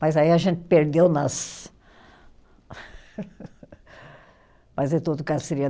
Mas aí a gente perdeu nas